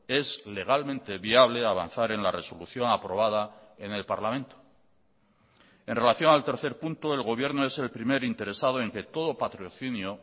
es legalmente viable avanzar en la resolución aprobada en el parlamento en relación al tercer punto el gobierno es el primer interesado en que todo patrocinio